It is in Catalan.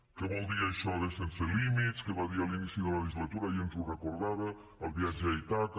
què vol dir això de sense límits que va dir a l’inici de la legislatura ahir ens ho recordava el viatge a ítaca